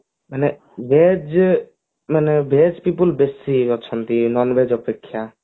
ମାନେ veg ମାନେ veg people ବେଶୀ ଅଛନ୍ତି non veg ଅପେକ୍ଷା